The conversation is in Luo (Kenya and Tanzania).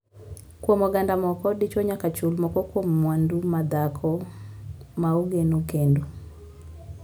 Kuom ogand moko, dichwo nyaka chul moko kuom mwandu ma dhako ma ogeno kendo.